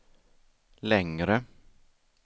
längre